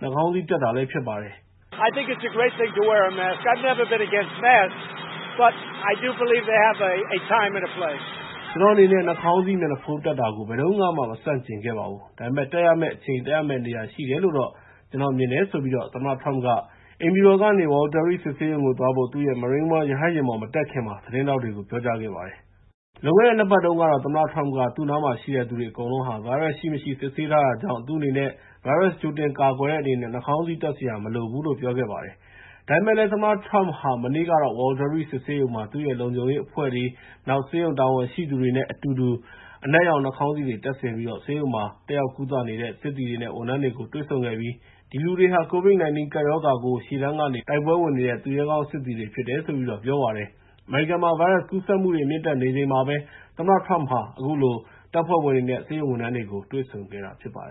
နှာခေါင်းစည်းတပ်တာလည်း ဖြစ်ပါတယ်။ “ကျနော့်အနေနဲ့ နှာခေါင်းစည်းမျက်နှာဖုံး တပ်တာကို ဘယ်တုန်းကမှ မဆန့်ကျင်ခဲ့ပါဘူး။ ဒါပေမယ့် တပ်ရမယ့်အချိန်၊ တပ်ရမယ့်နေရာ ရှိတယ်လို့တော့ ကျနော်မြင်ပါတယ်” လို့ သမ္မတ Trump က အိမ်ဖြူတော်ကနေ Walter Reed စစ်ဆေးရုံကိုသွားဖို့ သူ့ရဲ့ Marine One ရဟတ်ယာဉ်ပေါ် မတက်ခင်မှာ သတင်းထောက်တွေကို ပြောကြားခဲ့ပါတယ်။ လွန်ခဲ့တဲ့ ၂ ပတ်တုန်းကတော့ သမ္မတ Trump က သူ့နားမှာရှိတဲ့သူတွေ အကုန်လုံးဟာ ဗိုင်းရပ်စ်ရှိမရှိ စစ်ဆေးထားတာကြောင့် သူ့အနေနဲ့ ဗိုင်းရပ်စ်ကြိုတင်ကာကွယ်တဲ့ အနေနဲ့ နှာခေါင်းစည်းတပ်စရာ မလိုဘူးလို့ ပြောခဲ့ပါတယ်။ ဒါပေမယ့်လည်း သမ္မတ Trump ဟာ မနေ့ကတော့ Walter Reed စစ်ဆေးရုံမှာ သူ့ရဲ့ လုံခြုံရေးအဖွဲ့တွေ၊ နောက် ဆေးရုံတာဝန်ရှိသူတွေနဲ့ အတူတူ အနက်ရောင် နှာခေါင်းစည်းတွေ တပ်ဆင်ပြီးတော့ ဆေးရုံမှာ တက်ရောက်ကုသနေတဲ့ စစ်သည်တွေနဲ့ ဝန်ထမ်းတွေကို တွေ့ဆုံခဲ့ပြီး ဒီလူတွေဟာ COVID-19 ကပ်ရောဂါကို ရှေ့တန်းက တိုက်ပွဲဝင်နေတဲ့ သူရဲကောင်းစစ်သည်တွေ ဖြစ်တယ်လို့ ပြောပါတယ်။ အမေရိကန်မှာ ဗိုင်းရပ်စ်ကူးစက်မှုတွေ မြင့်တက်နေချိန်မှာပဲ သမ္မတ Trump ဟာ တပ်ဖွဲ့ဝင်တွေနဲ့ ဆေးရုံဝန်ထမ်းတွေကို တွေ့ဆုံခဲ့တာ ဖြစ်ပါတယ်